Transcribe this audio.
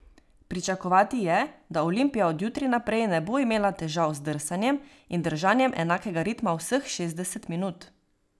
Pričakovati je, da Olimpija od jutri naprej ne bo imela težav z drsanjem in držanjem enakega ritma vseh šestdeset minut.